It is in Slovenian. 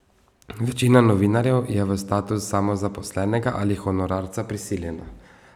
Večina novinarjev je v status samozaposlenega ali honorarca prisiljena.